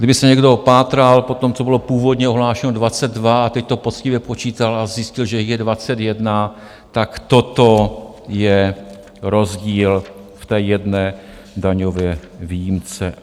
Kdyby se někdo pátral po tom, co bylo původně ohlášeno 22 a teď to poctivě počítal a zjistil, že je 21, tak toto je rozdíl v té jedné daňové výjimce.